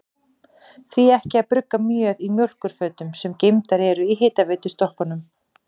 Því ekki að brugga mjöð í mjólkurfötum, sem geymdar eru í hitaveitustokkunum?